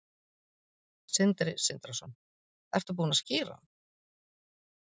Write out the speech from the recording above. Sindri Sindrason: Ertu búin að skíra hann?